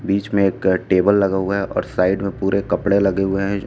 बीच मे एक टेबल लगा हुआ है और साइड में पूरे कपड़े लगे हुए हैं।